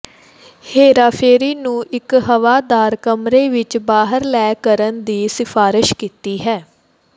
ਹੇਰਾਫੇਰੀ ਨੂੰ ਇੱਕ ਹਵਾਦਾਰ ਕਮਰੇ ਵਿੱਚ ਬਾਹਰ ਲੈ ਕਰਨ ਦੀ ਸਿਫਾਰਸ਼ ਕੀਤੀ ਹੈ